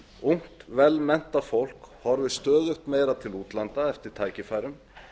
ungt vel menntað fólk horfir stöðugt meira til útlanda eftir tækifærum